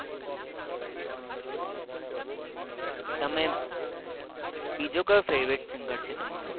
તમે બીજું કયું favourite સિંગર છે તમારે